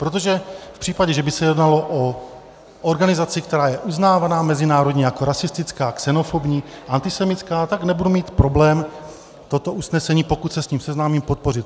Protože v případě, že by se jednalo o organizaci, která je uznávaná mezinárodně jako rasistická, xenofobní, antisemitská, tak nebudu mít problém toto usnesení, pokud se s ním seznámím, podpořit.